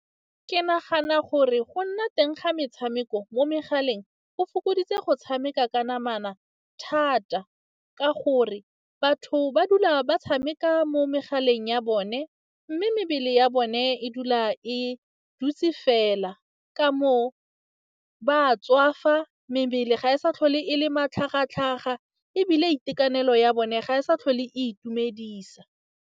Ke nagana gore go nna teng ga metshameko mo megaleng go fokoditse go tshameka ka namana thata, ka gore batho ba dula ba tshameka mo megaleng ya bone mme mebele ya bone e dula e dutse fela. Ka moo ba tswafa, mebele ga e sa tlhole e le matlhagatlhaga, ebile itekanelo ya bone ga e sa tlhole e itumedisa.